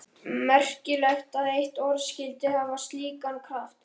Merkilegt að eitt orð skyldi hafa slíkan kraft.